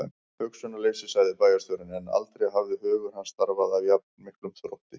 Hugsunarleysi sagði bæjarstjórinn, en aldrei hafði hugur hans starfað af jafn miklum þrótti.